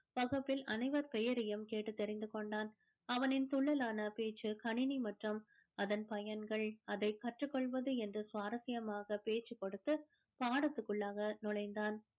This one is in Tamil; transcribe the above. வகுப்பில் அனைவர் பெயரையும் கேட்டு தெரிந்து கொண்டான் அவனின் துள்ளலான பேச்சு கணினி மற்றும் அதன் பயன்கள் அதனை கற்றுக் கொள்வது என்று சுவாரஸ்யமாக பேசிக் கொடுத்து பாடத்துக்குள்ளாக நுழைந்தான்